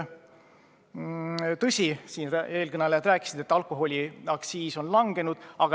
Tõsi, nagu eelkõnelejad rääkisid, alkoholiaktsiis on langenud.